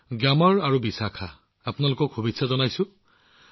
gamer আৰু বিশাখালৈ মোৰ শুভেচ্ছা থাকিল